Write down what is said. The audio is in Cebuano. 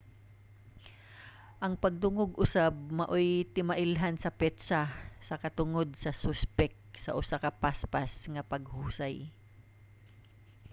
ang pagdungog usab maoy timailhan sa petsa sa katungod sa suspek sa usa ka paspas nga paghusay